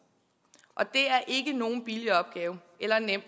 og det er ikke nogen billig opgave eller nem